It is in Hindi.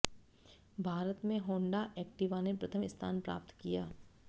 भारत में होंडा एक्टिवा ने प्रथम स्थान प्राप्त किया